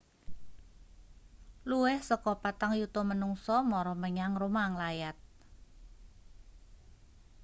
luwih saka patang yuta manungsa mara menyang roma nglayat